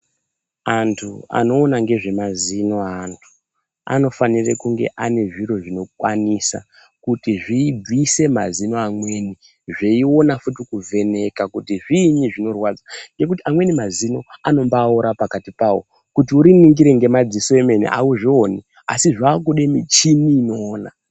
Antu anoona ngezve mazino aanhu anofanire kunge ane zviro zvinokwanisa kuti zviibvise mazino amweni zveionafuti kuvheneka kuti zviinyi zvinorwadza ngekuti amweni mazino anobaore pakati pawo kuti uriningire ngemadziso emene auzvioni asi zvakude michini inoona.